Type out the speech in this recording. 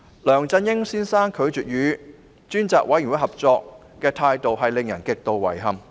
梁振英先生拒絕與專責委員會合作的態度令人極度遺憾。